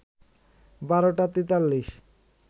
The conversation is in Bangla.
১২টা ৪৩